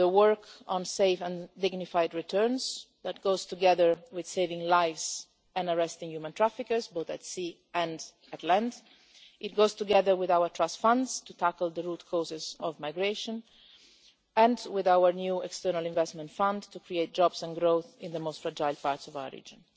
The work on safe and dignified returns goes together with saving lives and arresting human traffickers both at sea and on land, it goes together with our Trust Funds to tackle the root causes of migration and with our new External Investment Fund to create jobs and growth in the most fragile regions of origin.